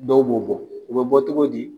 Dɔw b'o bɔ, o be bɔ cogo di ?